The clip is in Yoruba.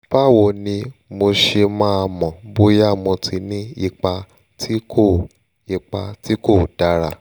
báwo ni mo ṣe máa mọ̀ bóyá mo ti ní ipa tí kò ipa tí kò dára?